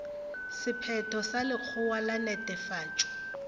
sephetho sa lekgotla la netefatšo